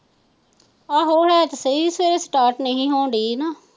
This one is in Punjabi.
ਆਹੋ ਉਹ ਤੇ ਸਹੀ ਸੇ ਸਟਾਰਟ ਨਹੀਂ ਹੋਣ ਡਾਇ ਨਾ।